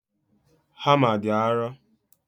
Hama dị arọ